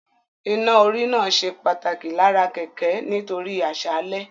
Iná-orí náà ṣe pàtàkì lára kẹ̀kẹ́ nítorí àṣálẹ́